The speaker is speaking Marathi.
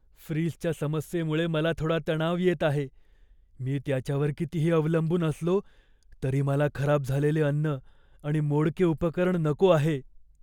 फ्रीजच्या समस्येमुळे मला थोडा तणाव येत आहे, मी त्याच्यावर कितीही अवलंबून असलो तरी मला खराब झालेले अन्न आणि मोडके उपकरण नको आहे.